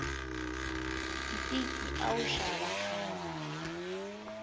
ntiki a wu xava khale